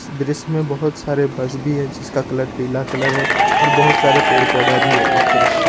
दृश्य में बहुत सारे बस भी है जिसका कलर पीला कलर है और बहुत सारे पेड़ पौधा भी है इस दृश्य में।